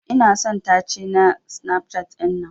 Ina son tace na Snapchat dinnan.